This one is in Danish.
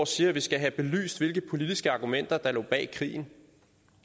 siger at vi skal have belyst hvilke politiske argumenter der lå bag krigen